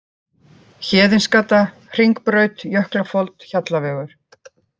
Héðinsgata, Hringbraut, Jöklafold, Hjallavegur